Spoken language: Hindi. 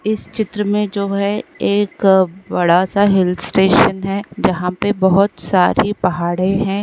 इस चित्र में जो है एक बडा सा हिल स्टेशन है जहाँ पे बहुत सारी पहाड़े हैं।